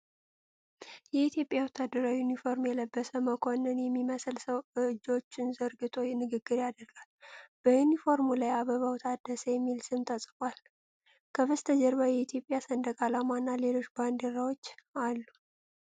የኢትዮጵያ ወታደራዊ ዩኒፎርም የለበሰ፣ መኮንል የሚመስል ሰው እጆቹን ዘርግቶ ንግግር ያደርጋል። በዩኒፎርሙ ላይ "አበባው ታደሰ" የሚል ስም ተጽፏል። ከበስተጀርባ የኢትዮጵያ ሰንደቅ ዓላማ እና ሌሎች ባንዲራዎች አሉ።